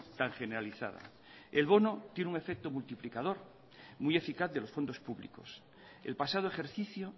tan generalizada el bono tiene un efecto multiplicador muy eficaz de los fondos públicos el pasado ejercicio